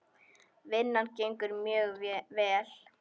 Vinnan gengur mjög vel.